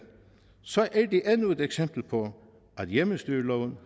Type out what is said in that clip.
så er det endnu et eksempel på at hjemmestyreloven